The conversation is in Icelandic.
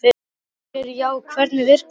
Ásgeir: Já, og hvernig virkar þetta?